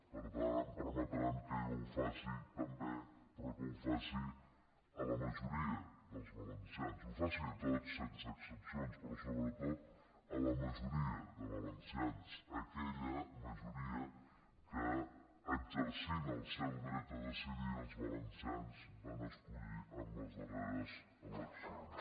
per tant em permetran que jo ho faci també però que ho faci a la majoria dels valencians ho faci a tots sense excepcions però sobretot a la majoria de valencians aquella majoria que exercint el seu dret a decidir els valencians van escollir en les darreres eleccions